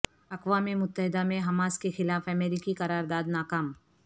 اقوام متحدہ میں حماس کیخلاف امریکی قرار داد ناکام